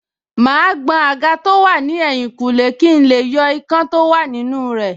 Màá gbọn àga tó wà ní ẹ̀yìnkùlé kí n lè yọ ikán tó wà nínú rẹ̀